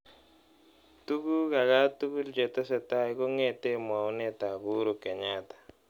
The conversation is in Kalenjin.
Tukuk akatukul chetesetai kong'ete mwaunetap Uhuru Kenyatta.